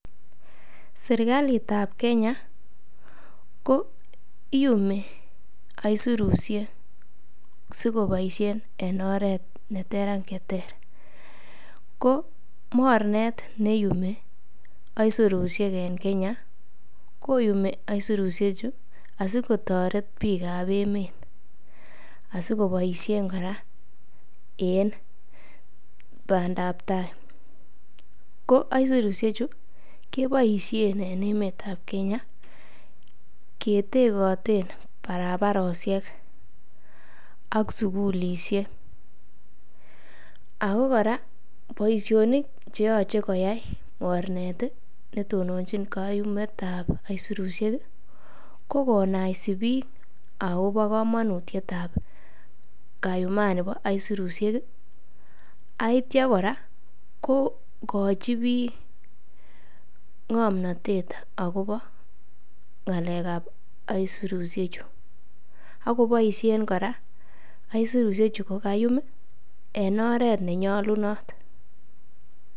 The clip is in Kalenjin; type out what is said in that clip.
Serkalit an Kenya ko iyumi aisurusiek asikoboisien en oret ne ter ak che ter. Ko mornet ne iyumi aisurushek en Kenya, koyumi aisurushechu asikotoret biik ab emet asikoboisien kora en bandap tai. Ko aisurushechu keboisien en emetab Kenya ketegoten barabarosiek ak sugulisiek ago kora boisionik che yoche koyai mornet ne tononchin kayumet ab aisurushek ko konaisi biik agobo komonutiet ab kayumani bo aisurushek ak kityo kora kogochi biik ng'omnatet agobo ng'alekab aisurushechu. Ak koboisien kora aisurushechu kogayum en oret nenyolunot.